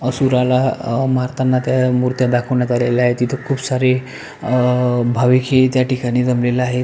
असुरला अ मारताना त्या मुर्त्या दाखवण्यात आलेल्या आहे तिथे खूप सारी अ भाविक ही त्या ठिकाणी जमलेले आहेत.